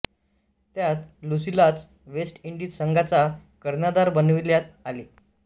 त्यात लुसीलाच West Indies संघाचा कर्णधार बनविल्यात आले